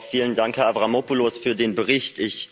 Vielen Dank, Herr Avramopoulos, für den Bericht.